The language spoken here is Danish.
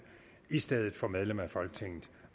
i stedet for medlem af folketinget